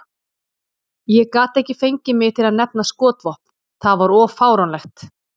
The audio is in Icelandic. Ég gat ekki fengið mig til að nefna skotvopn, það var of fáránlegt.